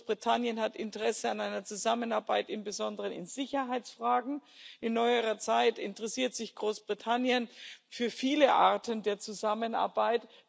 Großbritannien hat Interesse an einer Zusammenarbeit im Besonderen in Sicherheitsfragen, in neuerer Zeit interessiert sich Großbritannien für viele Arten der Zusammenarbeit.